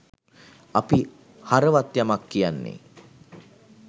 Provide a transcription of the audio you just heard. අපි හරවත් යමක් කියන්නේ